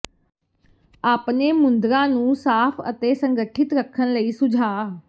ਆਪਣੇ ਮੁੰਦ੍ਰਾਂ ਨੂੰ ਸਾਫ ਅਤੇ ਸੰਗਠਿਤ ਰੱਖਣ ਲਈ ਸੁਝਾਅ